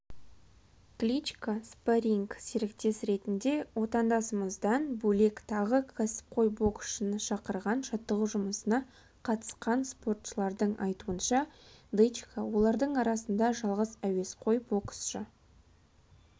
кличко спарринг серіктес ретінде отандасымыздан бөлек тағы кәсіпқой боксшыны шақырған жаттығу жұмысына қатысқан спортшылардың айтуынша дычко олардың арасында жалғыз әуесқой боксшы